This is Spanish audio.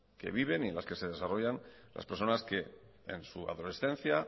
que viven en las que se desarrollan las personas en las que su adolescencia